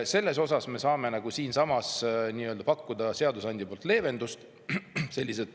Siin me saame pakkuda seadusandja poolt leevendust.